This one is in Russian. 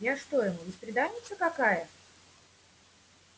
я что ему бесприданница какая